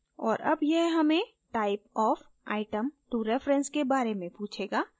और अब यह हमें type of item to reference के बारे में पूछेगा